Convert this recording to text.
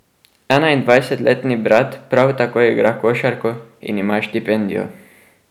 Enaindvajsetletni brat prav tako igra košarko in ima štipendijo.